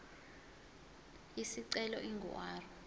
isicelo ingu r